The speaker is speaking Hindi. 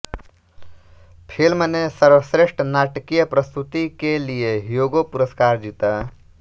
फ़िल्म ने सर्वश्रेष्ठ नाटकीय प्रस्तुति के लिए ह्यूगो पुरस्कार जीता